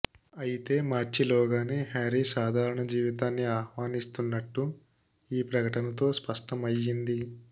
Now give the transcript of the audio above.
అయితే మార్చి లోగానే హ్యారీ సాధారణ జీవితాన్ని ఆహ్వానిస్తున్నట్టు ఈ ప్రకటనతో స్పష్టమయ్యింది